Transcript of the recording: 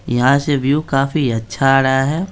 यहां से व्यू काफी अच्छा आ रहा है।